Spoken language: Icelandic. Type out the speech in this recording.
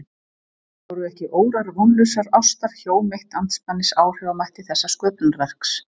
Voru ekki órar vonlausrar ástar hjóm eitt andspænis áhrifamætti þessa sköpunarverks?